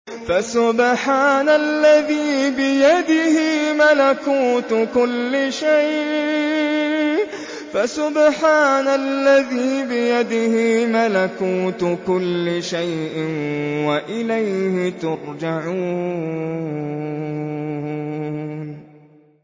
فَسُبْحَانَ الَّذِي بِيَدِهِ مَلَكُوتُ كُلِّ شَيْءٍ وَإِلَيْهِ تُرْجَعُونَ